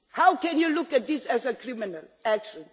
How can you look on this as a criminal action?